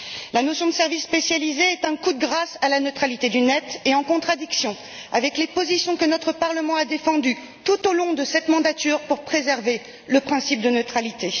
La notion de service spécialisé est un coup de grâce à la neutralité du net et en contradiction avec les positions que notre Parlement a défendues tout au long de cette législature pour préserver le principe de neutralité.